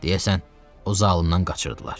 Deyəsən, o zalımdan qaçırdılar.